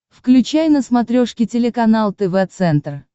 включай на смотрешке телеканал тв центр